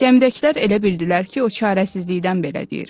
Gəmidəkilər elə bildilər ki, o çarəsizlikdən belə deyir.